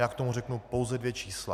Já k tomu řeknu pouze dvě čísla.